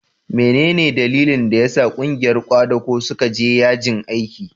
mene ne dalilin da ya sa ƙungiyar kwadago suka je yajin aiki?